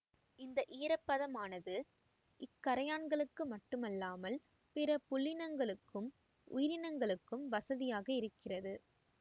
இந்த ஈரப்பதமானது இக்கறையான்களுக்கு மட்டுமல்லாமல் பிற புல்லினங்களுக்கும் உயிரினங்களுக்கும் வசதியாக இருக்கிறது